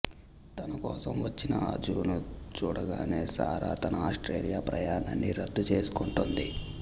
తన కోసం వచ్చిన అజును చూడగనే సారా తన ఆస్ట్రేలియా ప్రయాణాన్ని రద్దు చేసుకొంటుంది